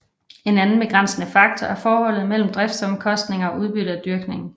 En anden begrænsende faktor er forholdet mellem driftsomkostningerne og udbyttet af dyrkningen